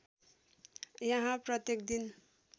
यहाँ प्रत्येक दिन